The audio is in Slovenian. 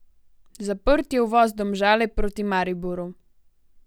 Zaprt je uvoz Domžale proti Mariboru.